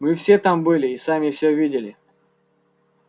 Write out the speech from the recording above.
мы все там были и сами всё видели